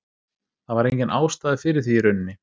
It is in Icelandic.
Það var engin ástæða fyrir því í rauninni.